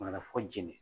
Maraka fɔ jeli